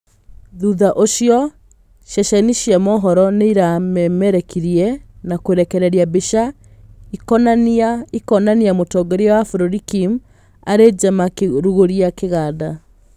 Thutha ũcio ceceni cia mohoro nĩiramemerekirie na kũrekereria mbica ikĩonania mũtongoria wa bũrũri Kim arĩ nja makĩrugũria kigaanda.